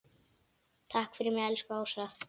Takk fyrir mig, elsku Ása.